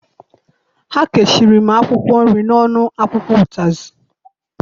Ha kechiri m akwụkwọ nri n'ọnụ akwụkwọ ụtazị.